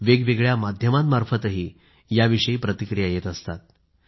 वेगवेगळ्या माध्यमांमार्फतही याविषयी प्रतिक्रिया येत असतात